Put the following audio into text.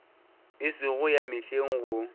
e sego ya mehleng go